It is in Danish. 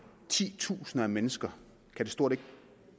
titusinde af mennesker stort